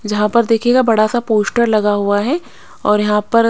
जहां पर देखिएगा बड़ा सा पोस्टर लगा हुआ है और यहां पर--